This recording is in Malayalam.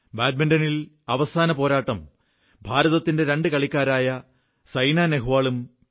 ബാഡ്മിന്റണിൽ അവസാന പോരാട്ടം ഭാരതത്തിന്റെ രണ്ട് കളിക്കാരായ സൈന നേഹ്വാളും പി